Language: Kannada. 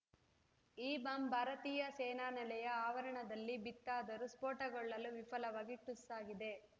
ಈ ಬಾಂಬ್‌ ಭಾರತೀಯ ಸೇನಾನೆಲೆಯ ಆವರಣದಲ್ಲಿ ಬಿತ್ತಾದರೂ ಸ್ಫೋಟಗೊಳ್ಳಲು ವಿಫಲವಾಗಿ ಟುಸ್‌ ಆಗಿದೆ